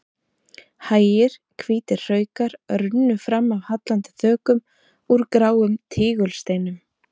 Hægir hvítir hraukar runnu fram af hallandi þökum úr gráum tígulsteinum.